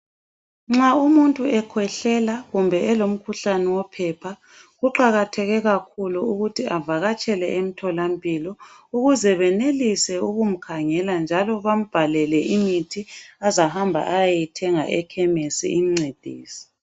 Nxa umuntu ekhwehlela kumbe elomkhuhlane wophepha kuqakatheke kakhulu ukuthi avakatshele emtholampilo ukuze benelise ukumkhangela njalo bambhalele imithi azahamba ayeyithenga ekhemesi imncedise.